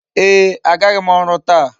Ee, agaghị m ọrụ taa.